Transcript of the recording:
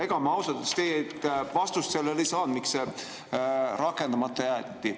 Ega ma ausalt öeldes teilt vastust ei saanud, miks see rakendamata jäeti.